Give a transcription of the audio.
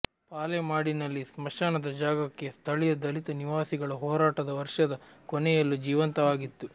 ಪಾಲೇಮಾಡಿನಲ್ಲಿ ಸ್ಮಶಾನದ ಜಾಗಕ್ಕಾಗಿ ಸ್ಥಳೀಯ ದಲಿತ ನಿವಾಸಿಗಳ ಹೋರಾಟ ವರ್ಷದ ಕೊನೆಯಲ್ಲೂ ಜೀವಂತವಾಗಿತ್ತು